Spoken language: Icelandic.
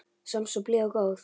Samt svo blíð og góð.